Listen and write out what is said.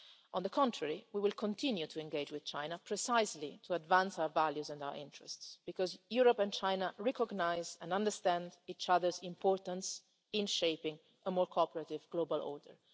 on that. On the contrary, we will continue to engage with China precisely to advance our values and our interests, because Europe and China recognise and understand each other's importance in shaping a more cooperative global